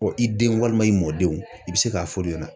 Ɔ i denw, walima i mɔdenw, i bɛ se k'a f'olu ɲɛna.